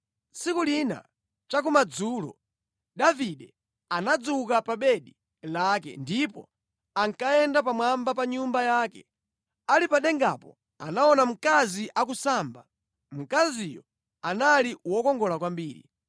Tsiku lina cha kumadzulo Davide anadzuka pa bedi lake ndipo ankayenda pamwamba pa nyumba yake. Ali pa dengapo anaona mkazi akusamba. Mkaziyo anali wokongola kwambiri.